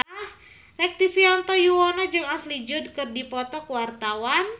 Rektivianto Yoewono jeung Ashley Judd keur dipoto ku wartawan